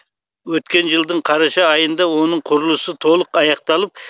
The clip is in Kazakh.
өткен жылдың қараша айында оның құрылысы толық аяқталып